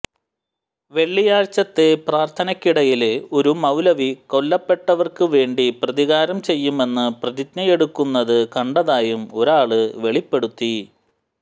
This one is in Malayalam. വെള്ളിയാഴ്ചത്തെ പ്രാര്ത്ഥനക്കിടയില് ഒരു മൌലവി കൊല്ലപ്പെട്ടവര്ക്കു വേണ്ടി പ്രതികാരം ചെയ്യുമെന്ന് പ്രതിജ്ഞയെടുക്കുന്നത് കണ്ടതായും ഒരാള് വെളിപ്പെടുത്തി